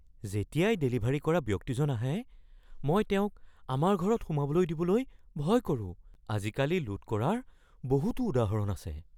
যেতিয়াই ডেলিভাৰী কৰা ব্যক্তিজন আহে, মই তেওঁক আমাৰ ঘৰত সোমাবলৈ দিবলৈ ভয় কৰো। আজিকালি লুট কৰাৰ বহুতো উদাহৰণ আছে।